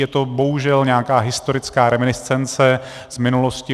Je to bohužel nějaká historická reminiscence z minulosti.